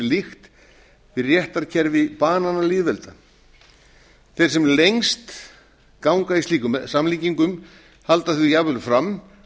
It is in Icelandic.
líkt við réttarkerfi bananalýðvelda þeir sem lengst ganga í slíkum samlíkingum halda því jafnvel fram